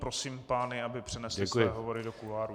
Prosím pány, aby přenesli své hovory do kuloárů.